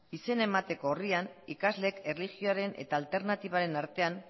izena emateko orrian ikasleek erlijioaren eta alternatibaren artean